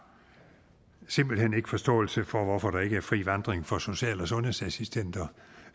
simpelt hen ikke forståelse for hvorfor der ikke er fri vandring for social og sundhedsassistenter